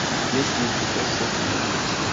есть ли у тебя сотни улиц